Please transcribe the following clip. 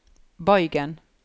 bøygen